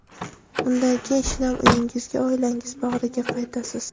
Undan keyin shinam uyingizga, oilangiz bag‘riga qaytasiz.